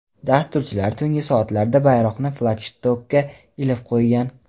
Dasturchilar tungi soatlarda bayroqni flagshtokka ilib qo‘ygan.